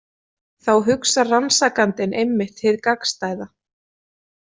Þá hugsar rannsakandinn einmitt hið gagnstæða.